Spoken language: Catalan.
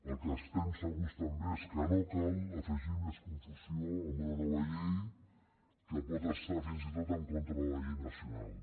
del que estem segurs també és que no cal afegir més confusió amb una nova llei que pot estar fins i tot en contra de la llei nacional